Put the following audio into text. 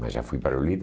Mas já fui para